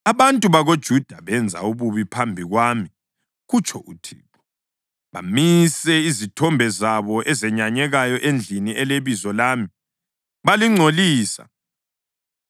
“ ‘Abantu bakoJuda benze ububi phambi kwami, kutsho uThixo. Bamise izithombe zabo ezenyanyekayo endlini eleBizo lami balingcolisa.